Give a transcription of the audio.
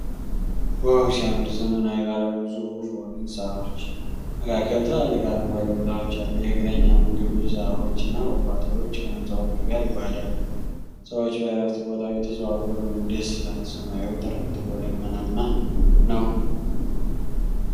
ዋው ሲያምር! ዘመናዊ ባለ ብዙ ፎቅ ሕንፃዎች መካከል ትላልቅ አረንጓዴ ቦታዎች አሉ። የእግረኛ መንገዶች፣ ዛፎች እና ቁጥቋጦዎች ከሕንፃዎቹ ጋር ይዋሃዳሉ። ሰዎች በእረፍት ቦታው እየተዘዋወሩ ነው። ደስ ይላል! ሰማዩ ጥርት ብሎ ደመናማ ነው።